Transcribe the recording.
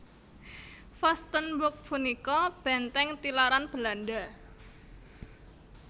Vastenburg punika bèntèng tilaran Belanda